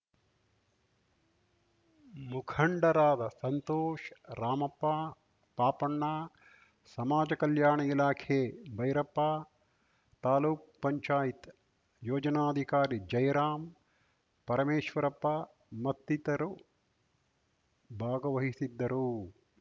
ಮುಖಂಡರಾದ ಸಂತೋಷ್‌ ರಾಮಪ್ಪ ಪಾಪಣ್ಣ ಸಮಾಜ ಕಲ್ಯಾಣ ಇಲಾಖೆ ಭೈರಪ್ಪ ತಾಲೂಕುಪಂಚಾಯತ್ಯೋಜನಾಧಿಕಾರಿ ಜಯರಾಂ ಪರಮೇಶ್ವರಪ್ಪ ಮತ್ತಿತರು ಭಾಗವಹಿಸಿದ್ದರು